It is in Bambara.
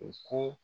U ko